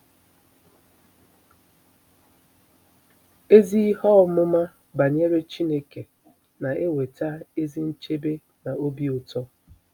Ezi ihe ọmụma banyere Chineke na-eweta ezi nchebe na obi ụtọ